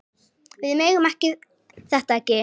Við megum þetta ekki!